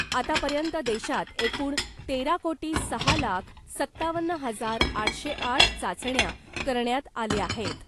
आतापर्यंत देशात एकूण तेरा कोटी सहा लाख सत्तावन्न हजार आठशे आठ चाचण्या करण्यात आल्या आहेत .